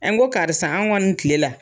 n ko karisa anw kɔni tile la